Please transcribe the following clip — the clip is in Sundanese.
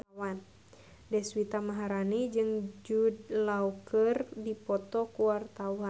Deswita Maharani jeung Jude Law keur dipoto ku wartawan